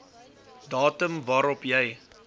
datum waarop jy